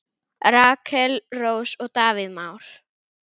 Rakel Rós og Davíð Már.